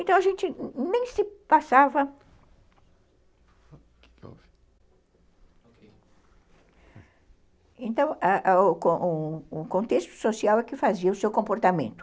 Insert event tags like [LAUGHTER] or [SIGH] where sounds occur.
Então, a gente nem se passava... Então, [UNINTELLIGIBLE] o contexto social é que fazia o seu comportamento.